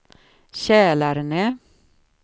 Kälarne